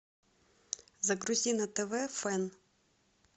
загрузи на тв фэн